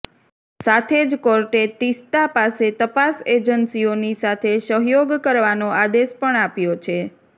સાથે જ કોર્ટે તીસ્તા પાસે તપાસ એજન્સીઓની સાથે સહયોગ કરવાનો આદેશ પણ આપ્યો છે